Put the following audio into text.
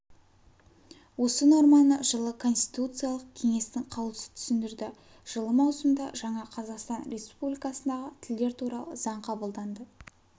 осы норманы жылы конституциялық кеңестің қаулысы түсіндірді жылы маусымда жаңа қазақстан республикасындағы тілдер туралы заң қабылданды